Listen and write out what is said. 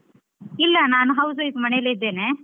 ಇಲ್ಲಾ ನಾನು house wife ಮನೆಯಲ್ಲೇ ಇದ್ದೇನೆ.